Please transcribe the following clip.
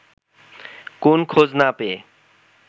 কোন খোঁজ না পেয়ে